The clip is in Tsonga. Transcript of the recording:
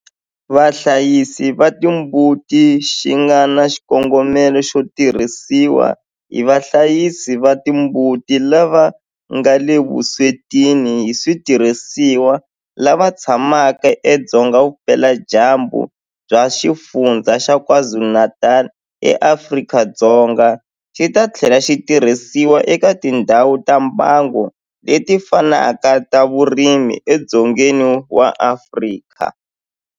Vahlayisi va timbuti xi nga na xikongomelo xo tirhisiwa hi vahlayisi va timbuti lava nga le vuswetini hi switirhisiwa lava tshamaka edzonga vupeladyambu bya Xifundzha xa KwaZulu-Natal eAfrika-Dzonga, xi ta tlhela xi tirhisiwa eka tindhawu ta mbango leti fanaka ta vurimi edzongeni wa Afrika.